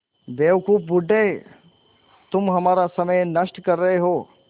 बेवकूफ़ बूढ़े तुम हमारा समय नष्ट कर रहे हो